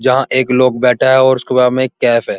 जहाँ एक लोग बैठा है और उसके बगल में एक कैफ़े है।